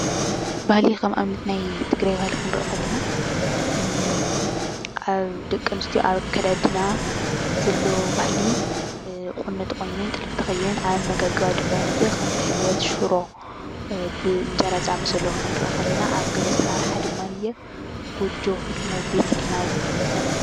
ባህሊ ከም ኣብነት ናይ ትግራይ ባህሊ ክንሪኢ ከለና ደቂ ኣንስትዮ ኣብ ኣከዳድና ዘሎ ባህሊ ቁኖ ተቆኒነን፣ ጥልፊ ተኸዲነን፣ ኣብ ኣመጋግባ ድማንየኢ ከም ሕልበት፣ ሽሮ፣ ብእንጀራ ዝኣመሰሉ ክንሪኢ ከለና ኣብ ገዛ ኣሰራርሓ ድማንየኢ ጎጆ፣ ህድሞ፣ ቤት ኢልና ውን ክንዛረብ ንክእል ኢና።